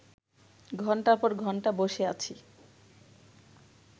ঘণ্টার পর ঘণ্টা বসে আছি